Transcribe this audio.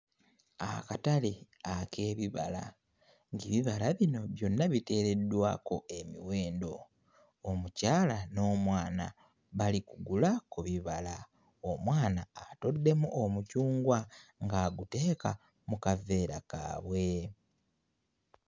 Akatale ak'ebibala ng'ebibala bino byonna biteereddwako emiwendo omukyala n'omwana bali kugula ku bibala omwana atoddemu omucungwa ng'aguteeka mu kaveera kaabwe.